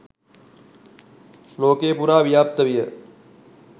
ලෝකය පුරා ව්‍යාප්ත විය.